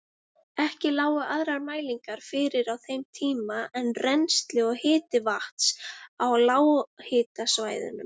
Ekki lágu aðrar mælingar fyrir á þeim tíma en rennsli og hiti vatns á lághitasvæðunum.